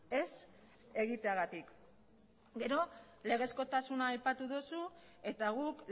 ez egiteagatik gero legezkotasuna aipatu duzu eta guk